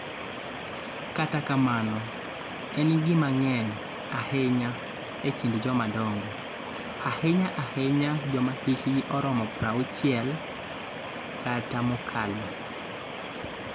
Kata kamano, en gima ng�eny ahinya e kind jomadongo, ahinya-ahinya joma hikgi oromo 60 kata mokalo.